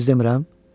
Düz demirəm?